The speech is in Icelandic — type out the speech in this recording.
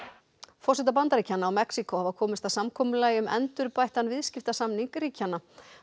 forsetar Bandaríkjanna og Mexíkó hafa komist að samkomulagi um endurbættan viðskiptasamning ríkjanna